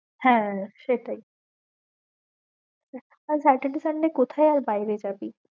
হ্যাঁ সেটাই আর saturday sunday কথায়ে আর বায়েরে যাবি?